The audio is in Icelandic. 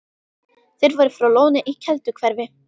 Þeir voru frá Lóni í Kelduhverfi.